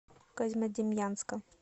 козьмодемьянска